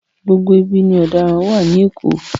Gbogbo ibi ni ọ̀daràn wà ní Èkó.